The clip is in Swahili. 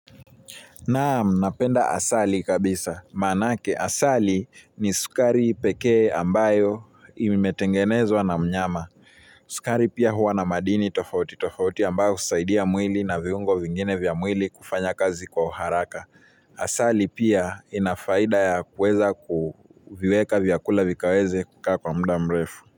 Naam, napenda asali kabisa. Manake, asali ni sukari peke ambayo imetengenezwa na mnyama. Sukari pia huwa na madini tofauti, tofauti ambayo kusaidia mwili na viungo vingine vya mwili kufanya kazi kwa uharaka. Asali pia inafaida ya kuweza kuviweka vyakula vikaweze kukaa kwa muda mrefu.